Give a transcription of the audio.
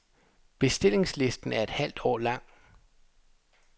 Bestillingslisten er et halvt år lang.